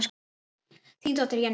Þín dóttir, Jenný.